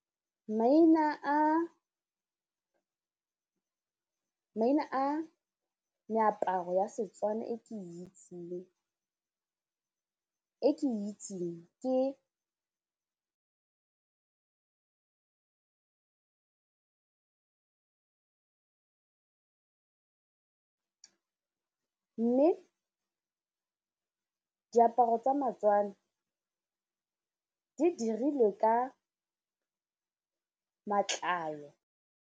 Maina a meaparo ya seTswana e ke itseng ke mme diaparo tsa baTswana di dirilwe ka matlalo.